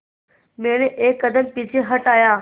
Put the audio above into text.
मैंने एक कदम पीछे हटाया